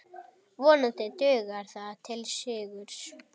Vonandi dugar það til sigurs.